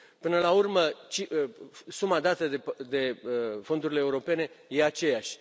Până la urmă, suma dată de fondurile europene este aceeași.